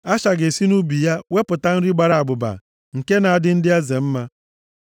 “Asha ga-esi nʼubi ya wepụta nri gbara abụba, nke na-adị ndị eze mma.